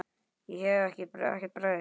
Ég hef ekkert breyst.